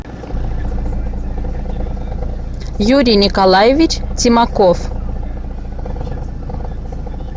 юрий николаевич тимаков